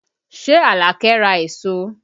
Ṣé Alake ra èso?